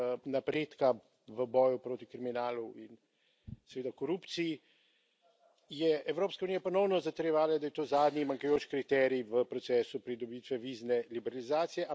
napredka v boju proti kriminalu in seveda korupciji, je Evropska unija ponovno zatrjevala, da je to zadnji manjkajoči kriterij v procesu pridobitve vizne liberalizacije.